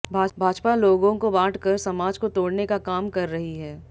भाजपा लोगों को बांट कर समाज को तोड़ने का काम कर रही है